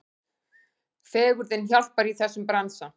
Fegurðin hjálpar í þessum bransa.